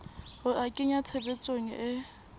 ho a kenya tshebetsong e